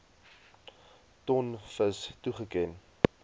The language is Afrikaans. ton vis toegeken